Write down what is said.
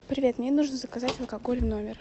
привет мне нужно заказать алкоголь в номер